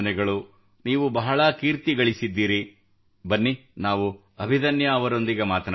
ನೀವು ಬಹಳ ಕೀರ್ತಿ ಗಳಿಸಿದ್ದೀರಿ ಬನ್ನಿ ನಾವು ಅಭಿದನ್ಯಾ ಅವರೊಂದಿಗೆ ಮಾತನಾಡೋಣ